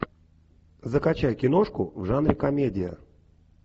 закачай киношку в жанре комедия